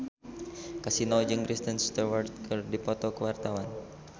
Kasino jeung Kristen Stewart keur dipoto ku wartawan